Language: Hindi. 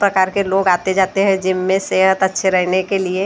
प्रकार के लोग आते जाते हैं जिम में सेहत अच्छे रहने के लिए जिम ।